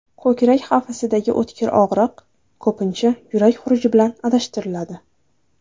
Ko‘krak qafasidagi o‘tkir og‘riq ko‘pincha yurak xuruji bilan adashtiriladi.